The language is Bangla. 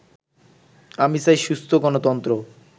আমি চাই সুস্থ গণতন্ত্র